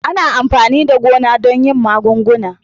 Ana amfani da amfanin gona don yin magunguna.